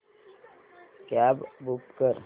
cab book कर